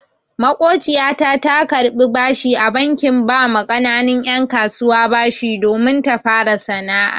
Maƙociyar mu ta karɓi bashi a bankin ba ma ƙananun 'yan kasuwa bashi domin ta fara kasuwanci.